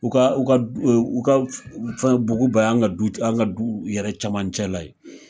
U ka u ka u ka fɛn buguba an ka du an ka du yɛrɛ camancɛ la ye